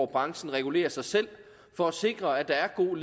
branchen regulerer sig selv for at sikre at der er god